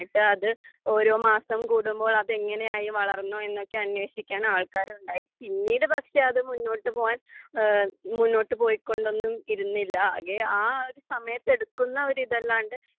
എന്നിട്ട് അത് ഓരോ മാസം കൂടുമ്പോൾ അതെങ്ങിനെയായി വളർന്നോ എന്നൊക്കെ അന്വേഷിക്കാൻ ആൾക്കാർ ഉണ്ടായി പിന്നീട് പക്ഷെ അത് മുന്നോട്ടുപോവാൻ മുന്നോട്ടുപോയികൊണ്ടൊന്നുമിരുന്നില്ല അകെ ആ ഒരു സമയത്ത് എടുക്കുന്നോരിതല്ലാണ്ട്